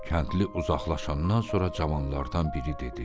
Kəndli uzaqlaşandan sonra cavanlardan biri dedi: